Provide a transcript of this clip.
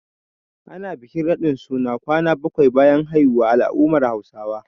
Ana bikin raɗin suna kwana bakwai bayan haihuwa a al'ummar Hausawa.